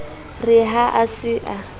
re ha a se a